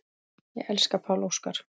Ég elska Pál Óskar.